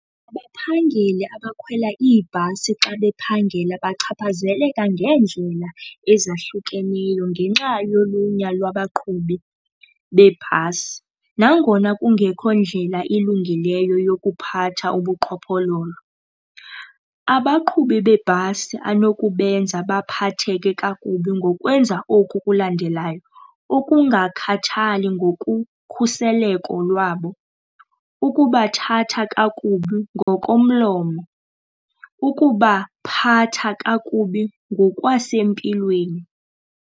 Abaphangeli abakhwela iibhasi xa bephangela bachaphazeleka ngeendlela ezahlukeneyo ngenxa yolunya lwabaqhubi beebhasi, nangona kungekho ndlela ilungileyo yokuphatha ubuqhophololo. Abaqhubi beebhasi anokubenza baphatheke kakubi ngokwenza oku kulandelayo, ukungakhathali ngokukhuseleka lwabo, ukubathatha kakubi ngokomlomo, ukubaphatha kakubi ngokwasempilweni.